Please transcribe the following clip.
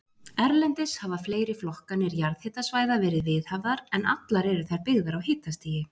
Erlendis hafa fleiri flokkanir jarðhitasvæða verið viðhafðar, en allar eru þær byggðar á hitastigi.